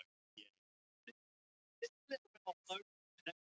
Freymóður Jóhannsson, listmálari, teiknaði myndina undir umsjá Guðjóns.